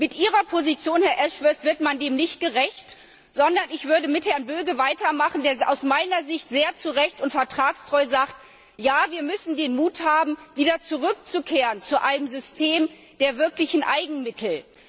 Mit Ihrer Position, Herr Ashworth, wird man dem nicht gerecht, sondern ich würde mit Herrn Böge weitermachen, der aus meiner Sicht sehr zu Recht und vertragstreu sagt Ja, wir müssen den Mut haben, wieder zurückzukehren zu einem System der wirklichen Eigenmittel.